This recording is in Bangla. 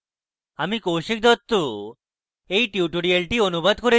আমি কৌশিক দত্ত এই টিউটোরিয়ালটি অনুবাদ করেছি